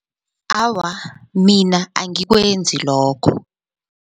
Awa, mina angikwenzi lokho.